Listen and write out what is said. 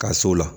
Ka s'o la